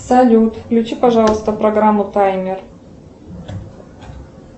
салют включи пожалуйста программу таймер